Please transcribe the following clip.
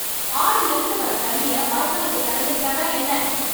ஆறிலிருந்து வர தண்ணியை வாய்க்காலுக்கு திறந்து விட்டா தான் என்ன?